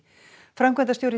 framkvæmdastjóri